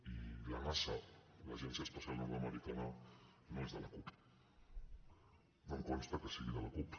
i la nasa l’agència espacial nord americana no és de la cup no em consta que sigui de la cup